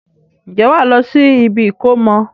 Ǹjẹ́ wàá lọ sí ibi ìkómọ?